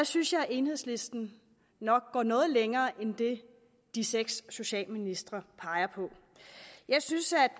synes jeg at enhedslisten nok går noget længere end det de seks socialministre peger på jeg synes